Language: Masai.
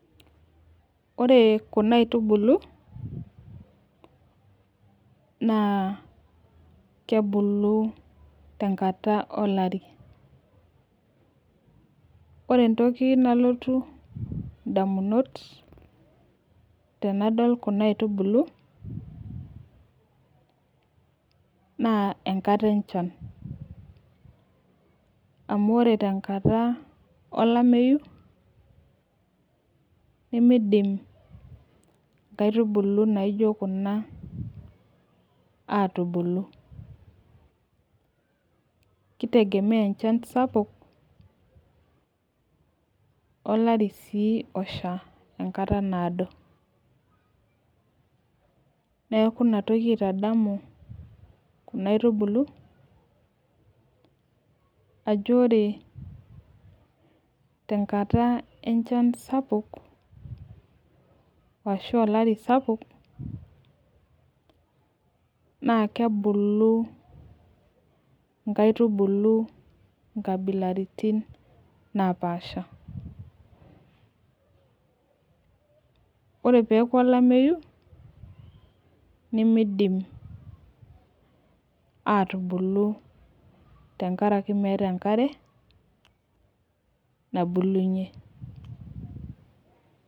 Ore kuna aitubului naa kebulu tenkata olari. Ore entoki nalotu ndamunot tenadol kuna aitubului naa enkata enchan amuu ore tenkata olameyu nemeidim nkaitubulu naijo kuna aatubulu. Keitegemea enchan sapuk olari sii osha enkata naado. Niaku inatoki aitadamu kuna aitubulu ajo ore tenkata enchan sapuk ashua olari sapuk naa kebulu nkaitubulu nkabilaritin naapasha. Ore peyieaku olameyu nemeidim aatubulu aatubulu